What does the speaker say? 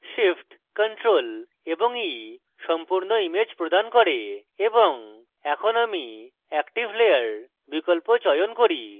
shift + ctrl + e সম্পূর্ণ image প্রদান করে এবং এখন আমি active layer বিকল্প চয়ন করি